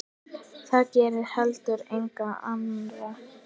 Það gerði heldur enginn annar.